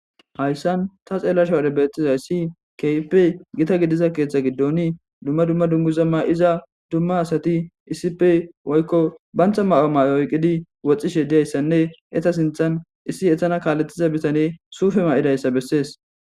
Hayssan ta xeellashe wude betizayssi kehipe gita gidiza keeththa giddon duma duma dunguza ma'iza duma asati issipe woykko bantha mayo mayo oyqidi woxxishe diyayisanne eta sinthan issi etana kaaletiza bitane suufe ma'idayssa besses.